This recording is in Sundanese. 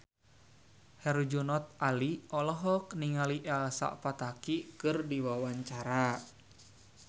Herjunot Ali olohok ningali Elsa Pataky keur diwawancara